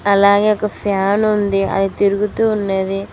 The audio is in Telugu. అలాగే ఒక ఫ్యాన్ ఉంది అది తిరుగుతూ ఉన్నది.